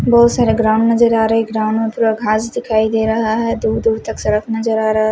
बहत सारे ग्राउंड नजर आ रहे है ग्राउंड में थोड़ा घास दिखाई दे रहा है दूर दूर तक सड़क नजर आ रहा--